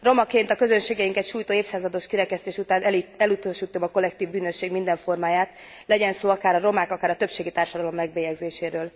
Romaként a közösségeinket sújtó évszázados kirekesztés után elutasítom a kollektív bűnösség minden formáját, legyen szó akár a romák, akár a többségi társadalom megbélyegzéséről.